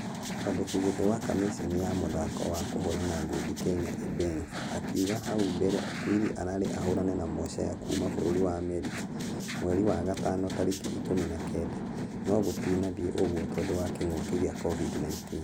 Mwandĩkigitĩ wa kamiseni ya mũthako wa kũhũrana ngundi kenya imbenzi akĩuga hau mbere okwiri ararĩ ahorane na moshea kuuma bũrũri wa america mweri wa gatano tarĩki ikũmi na kenda. Nũ gũtinathie ũguo nĩũndũ wa kĩng'uki gĩa covid-19.